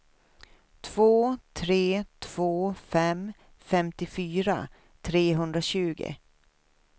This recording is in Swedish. två tre två fem femtiofyra trehundratjugo